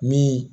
Min